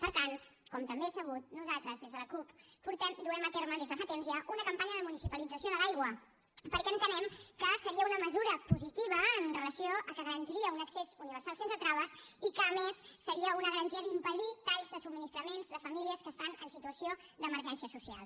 per tant com també és sabut nosaltres des de la cup duem a terme des de fa temps ja una campanya de municipalització de l’aigua perquè entenem que seria una mesura positiva amb relació a que garantiria un accés universal sense traves i que a més seria una garantia per impedir talls de subministraments de famílies que estan en situació d’emergència social